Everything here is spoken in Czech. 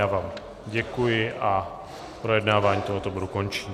Já vám děkuji a projednávání tohoto bodu končím.